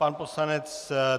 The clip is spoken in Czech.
Pan poslanec